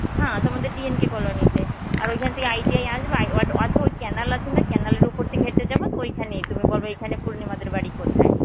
হ্যাঁ, তোমাদের দিন ঠিক হলে নিতে. আর ঐখান থেকে ITI আসবা আয় canal আছে না canal এর উপর থেকে হেটে যাবে তো ঐখানে বলবে এইখানে পুর্নিমাদের বাড়ি কোথায়?